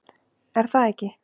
Er það ekki?